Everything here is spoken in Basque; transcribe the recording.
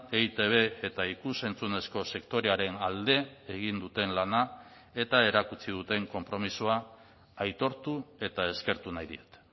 eitb eta ikus entzunezko sektorearen alde egin duten lana eta erakutsi duten konpromisoa aitortu eta eskertu nahi diet